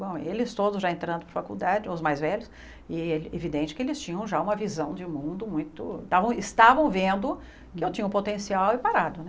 Bom, eles todos já entrando para a faculdade, os mais velhos, e é evidente que eles tinham já uma visão de mundo muito, estavam estavam vendo que eu tinha um potencial aí parado, né?